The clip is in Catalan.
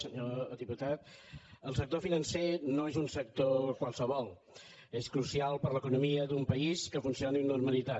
senyor diputat el sector financer no és un sector qualsevol és crucial per a l’economia d’un país que funcioni amb normalitat